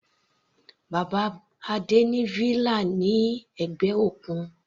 Bàbá Adé ní villa ní ẹ̀gbẹ́ òkun.